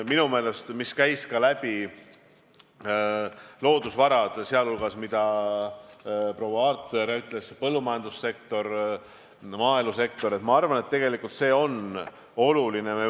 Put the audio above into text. Läbi käis ka loodusvarade teema ja see, mida proua Aart ütles, rääkides põllumajandussektorist, maaelusektorist, on minu arvates oluline.